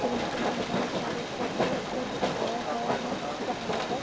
दृश्य में बहुत सारे फोटोस को दिखाया गए है जहाँ पर --